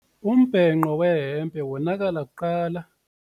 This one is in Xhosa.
Umbhenqo wehempe wonakala kuqala.